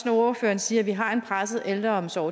når ordføreren siger at vi har en presset ældreomsorg